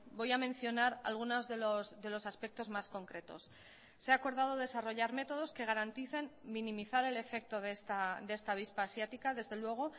voy a mencionar algunos de los aspectos más concretos se ha acordado desarrollar métodos que garanticen minimizar el efecto de esta avispa asiática desde luego